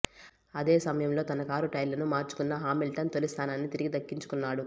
అదే సమయంలో తన కారు టైర్లను మార్చుకున్న హామిల్టన్ తొలి స్థానాన్ని తిరిగి దక్కించుకున్నాడు